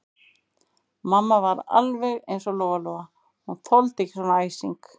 Mamma sem var alveg eins og Lóa-Lóa, hún þoldi ekki svona æsing.